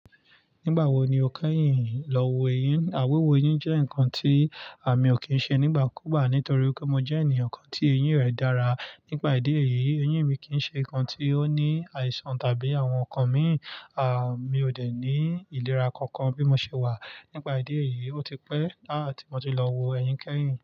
Nígbà wo ni o kẹ́yìn lọ wo eyín? Wíwo eyín jẹ́ nǹkan tí mi ò kí ń ṣe nígbàkúgbá nítorí pé mo jẹ́ ènìyàn kan tí eyín rẹ̀ dára. Nígbà ìdí èyí, eyín mi kì í ṣe nǹkan tí ó ní àìsàn tàbí àwọn nǹkan míì. Mi ò dẹ̀ ní ìlera kankan bí mo ṣe wà. Nípà ìdí èyí, ó ti pẹ́ ti mo ti lọ wo eyin kẹ́yìn.